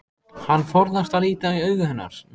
Hann forðast að líta í augu hennar.